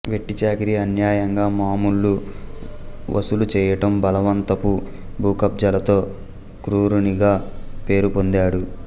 వెట్టి చాకిరి అన్యాయంగా మామూళ్లు వసూలుచేయటం బలవంతపు భూకబ్జాలతో క్రూరునిగా పేరుపొందాడు